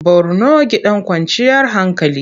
Borno gidan kwanciyar hankali.